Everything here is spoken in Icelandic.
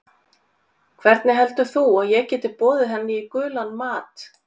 Hvernig heldur þú að ég geti boðið henni í gulan mat?